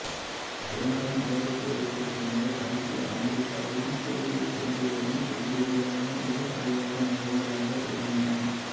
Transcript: இரண்டாம் உலகப் போருக்குப் பின்னர் ஐக்கிய அமெரிக்காவும் சோவியத் ஒன்றியமும் எதிரெதிரான இரு அதிகார மையங்களாக விளங்கின